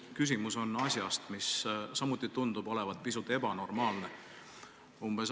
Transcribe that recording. Minu küsimus on asja kohta, mis samuti tundub olevat pisut ebanormaalne.